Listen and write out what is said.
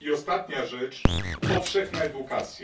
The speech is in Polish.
I ostatnia rzecz powszechna edukacja.